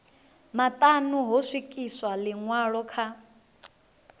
maṱanu ho swikiswa ḽiṅwalo kha